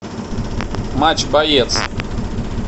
матч боец